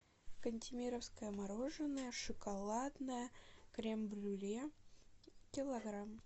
кантемировское мороженое шоколадное крем брюле килограмм